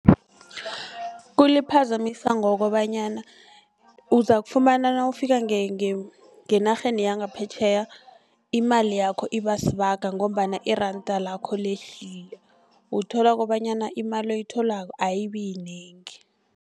Kuliphazamisa ngokobanyana uzakufumana nawufika ngenarheni yangaphetjheya imali yakho ibasibaga ngombana iranda lakho lehlile. Uthola kobanyana imali oyitholako ayibiyinengi.